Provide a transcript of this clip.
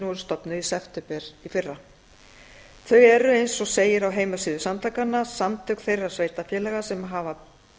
voru stofnuð í september í fyrra þau eru eins og segir á heimasíðu samtakanna samtök þeirra sveitarfélaga sem hafa